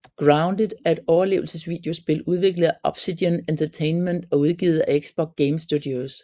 Grounded er et overlevelsesvideospil udviklet af Obsidian Entertainment og udgivet af Xbox Game Studios